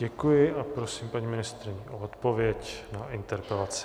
Děkuji a prosím paní ministryni o odpověď na interpelaci.